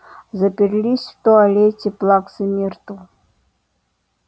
заперлись в туалете плаксы миртл